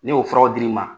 Ne y'o furaw dir'i ma